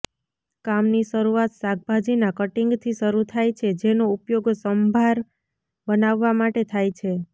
કામ ની શરૂઆત શાકભાજીના કટિંગથી શરૂ થાય છે જેનો ઉપયોગ સંભાર બનાવવા માટે થાય છે